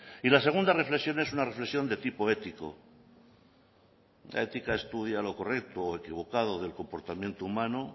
y la segunda reflexión es una reflexión de tipo ético la ética estudia lo correcto o equivocado del comportamiento humano